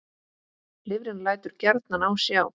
Lifrin lætur gjarnan á sjá.